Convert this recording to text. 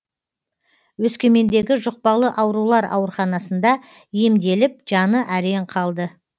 өскемендегі жұқпалы аурулар ауруханасында емделіп жаны әрең қалды